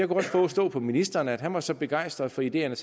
kunnet forstå på ministeren at han var så begejstret for ideerne